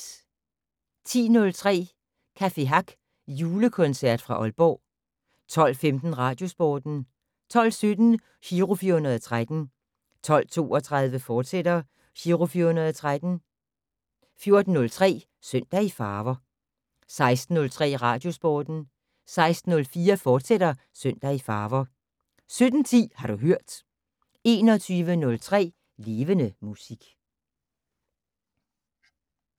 10:03: Café Hack Julekoncert fra Aalborg 12:15: Radiosporten 12:17: Giro 413 12:32: Giro 413, fortsat 14:03: Søndag i farver 16:03: Radiosporten 16:04: Søndag i farver, fortsat 17:10: Har du hørt 21:03: Levende Musik